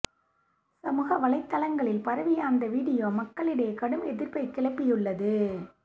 சமூக வலைதளங்களில் பரவிய அந்த வீடியோ மக்களிடையே கடும் எதிர்ப்பை கிளப்பியுள்ளது